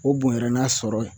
O bonyara n'a sɔrɔ ye